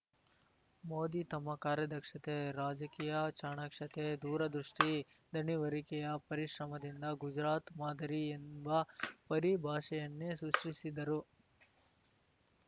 ಮೋದಿ ತಮ್ಮ ಕಾರ್ಯದಕ್ಷತೆ ರಾಜಕೀಯ ಚಾಣಾಕ್ಷತೆ ದೂರದೃಷ್ಟಿ ದಣಿವರಿಕೆಯ ಪರಿಶ್ರಮದಿಂದ ಗುಜರಾತ್‌ ಮಾದರಿ ಎಂಬ ಪರಿಭಾಷೆಯನ್ನೇ ಸೃಷ್ಟಿಸಿದರು